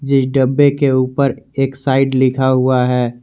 जिस डब्बे के ऊपर एक्साइड लिखा हुआ है।